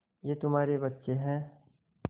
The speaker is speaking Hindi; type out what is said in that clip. ये तुम्हारे बच्चे हैं